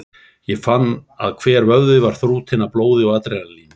Hann fann að hver vöðvi var þrútinn af blóði og adrenalíni.